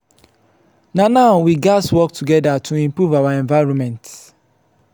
na now we gatz work together to improve our environment.